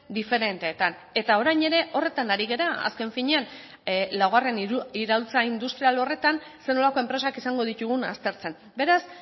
diferenteetan eta orain ere horretan ari gara azken finean laugarren iraultza industrial horretan zer nolako enpresak izango ditugun aztertzen beraz